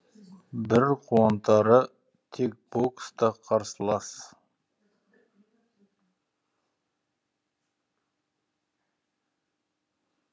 бір қуантары тек бокста қарсылас